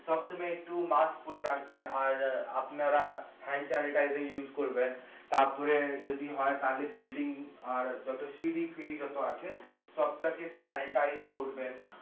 সব সময় একটু মাক্স পরে রাখবেন আর আপনারা করবেন তারপরে যদি হয় তাহলে বিল্ডিং আর যতো শিড়ি-ফিড়ি যতো আছে সবটা কে করবেন